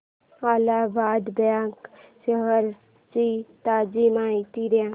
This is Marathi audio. अलाहाबाद बँक शेअर्स ची ताजी माहिती दे